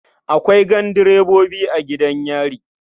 Akwai gandirebobi a gidan yari.